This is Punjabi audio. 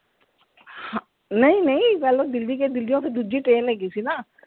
ਹਾਂ, ਨਹੀਂ ਨਹੀਂ ਪਹਿਲੋਂ ਦਿੱਲੀ ਗਏ, ਦਿੱਲੀਓਂ ਫਿਰ ਦੂਜੀ train ਹੈਗੀ ਸੀ ਨਾ।